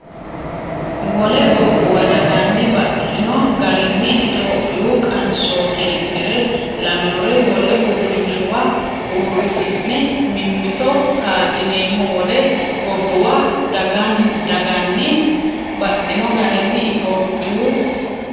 Wole gobbuwa daganni baxxino garinni Itophiyu qansooti Iddire lawinore wole uurrinshuwa uurrisi’ne mimmito kaa’lineemmo Wole gobbuwa daganni baxxino garinni Itophiyu.